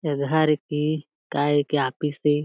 ए घर के काए के ऑफिस ए।